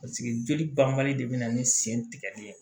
Paseke joli banbali de bɛ na ni sen tigɛli ye